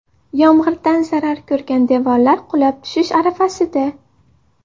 Yomg‘irdan zarar ko‘rgan devorlar qulab tushish arafasida.